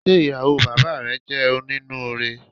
Ṣe ìyàwó bàbáà rẹ jẹ oninuure?